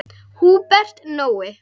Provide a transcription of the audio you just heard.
Húbert Nói.